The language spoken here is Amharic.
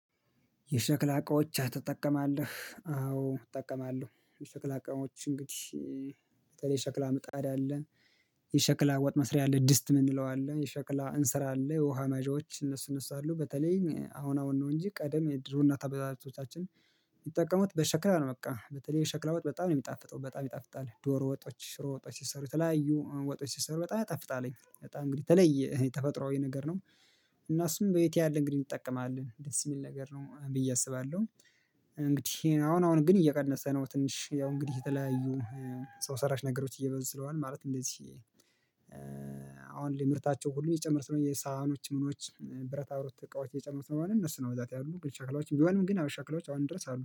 የሸክላ እቃዎች ትጠቀማለህ? አዎ እጠቀማለሁ። የሸክላ እቃዎች እንግዲህ በተለይ ሸክላ ምጣድ አለን። የሸክላ ወጥ መስሪያ ድስት የምንለው አለ የሸክላ እንስራ አለ የውሃ መያዣዎች እነሱ እነሱ አሉ። በተለይ አሁን አሁን ነው እንጂ ቀደም የድሮ እናት አባቶቻችን የሚጠቀመው በሸክላ ነው። በቃ በተለይ የሸክላ ወጥ በጣም ነው የሚጣፍጠው በጣም ይጣፍጣል። ዶሮ ወጦች ሽሮ ወጦች ሲሰሩ የተለያዩ ወጦች ሲሰሩ በጣም ይጣፍጣልኝ በጣም እንግዲህ ተለይ ተፈጥሮአዊ ነገር ነው። እና እሱም በየት ያለ እንግዲህ እንጠቀማለን ደስ የሚል ነገር ነው ብዬ አስባለሁ። እንግዲህ አሁን አሁን ግን እየቀነሰ ነው። ትንሽ ያው እንግዲህ የተለያዩ ሰው ሰራሽ ነገሮች እየበዙ ስለሆነ ማለት እንደዚህ። አሁን ላይ ምርታቸው ሁሉ እየጨመሩ የሳህኖች ምኖች ብረት ብረት እቃዎች የጨመሩ ስለሆነ እነሱ ነው ብዛት ያሉ ሸክላዎች ቢሆንም ግን ሸክላዎች አሁንም ድረስ አሉ